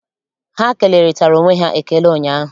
Ha kelerịtara onwe ha ekele ụnyaahụ.